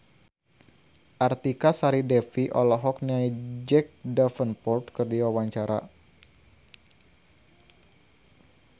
Artika Sari Devi olohok ningali Jack Davenport keur diwawancara